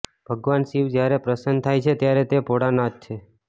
ભગવાન શિવ જ્યારે પ્રસન્ન થાય છે ત્યારે તે ભોળાનાથ છે